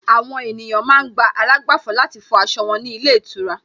Àwọn ènìyàn ma ń gba àlágbàfọ̀ láti fọ aṣọ wọn ní ilé ìtura